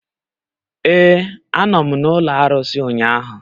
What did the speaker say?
Ee, a nọ m n'ụlọ arụsị ụnyahụ.